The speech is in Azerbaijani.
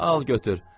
Al, götür.